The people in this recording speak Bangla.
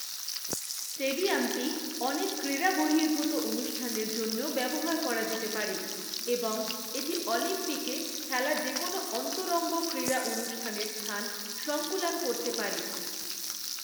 স্টেডিয়ামটি অনেক ক্রীড়াবহির্ভূত অনুষ্ঠানের জন্যও ব্যবহার করা যেতে পারে এবং এটি অলিম্পিকে খেলা যেকোনো অন্তরঙ্গন ক্রিড়া অনুষ্ঠানের স্থান সংকুলান করতে পারে।